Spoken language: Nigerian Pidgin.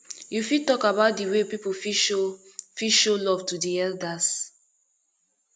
you fit talk about di way people fit show fit show love to di elders